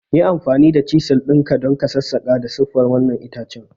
Yi amfani da chisel ɗin ka don sassaƙa da siffar wannan itace!